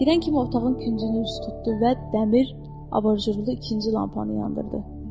Girən kimi otağın küncünü is tutdu və dəmir avarju ilə ikinci lampanı yandırdı.